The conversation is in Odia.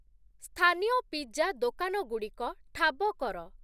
ସ୍ଥାନୀୟ ପିଜ୍ଜା ଦୋକାନଗୁଡ଼ିକ ଠାବ କର।